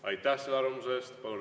Aitäh selle arvamuse eest!